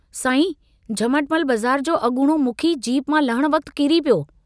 साईं झमटमल बज़ार जो अगूणो मुखी जीप मां लहण वक्त किरी पियो।